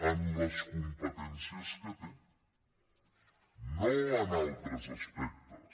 en les competències que té no en altres aspectes